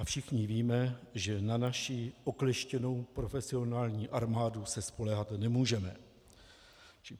A všichni víme, že na naši okleštěnou profesionální armádu se spoléhat nemůžeme.